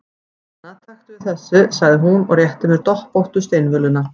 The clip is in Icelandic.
Hana, taktu við þessu, sagði hún og rétti mér doppóttu steinvöluna.